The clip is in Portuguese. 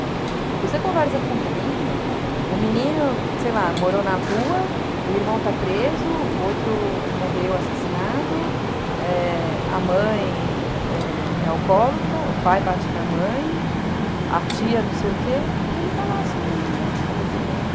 Então, você conversa com o menino, o menino, sei lá, morou na rua, o irmão está preso, o outro morreu assassinado, é... a mãe é alcoólatra, o pai bate na mãe, a tia não sei o quê, e ele está lá sorrindo, está desenhando.